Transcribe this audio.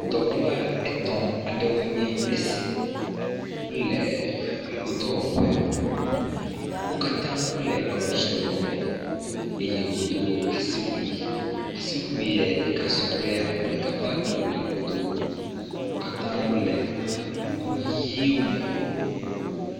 Dɔwɔla etɔ̃ aɖewoe nye esi, wole dɔwɔƒe, wo katã wole awu tsrɔlɔ me eye wodo asiwui. Asiwuie ɖeka sɔ kple ame ɖeka ƒe awu si wòdo. Wo katã wole kuku ʋɛ̃wo me.